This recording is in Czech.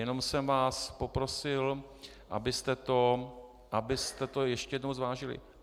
Jenom jsem vás poprosil, abyste to ještě jednou zvážili.